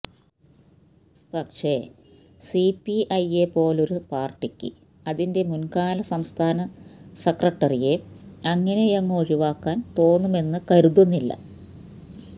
പക്ഷെ C P ഐയെ പോലൊരു പാർട്ടിക്ക് അതിന്റെ മുൻ കാല സംസ്ഥാന സെക്രട്ടറിയെ അങ്ങിനെയങ്ങു ഒഴിവാക്കാൻ തോന്നുമെന്ന് കരുതുന്നില്ല